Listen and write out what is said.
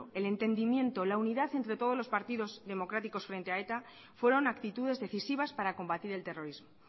el entendimiento la unidad entre todos los partidos democráticos frente a eta fueron actitudes decisivas para combatir el terrorismo